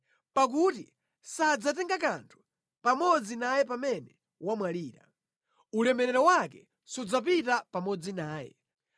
Pakuti sadzatenga kanthu pamodzi naye pamene wamwalira, ulemerero wake sudzapita pamodzi naye.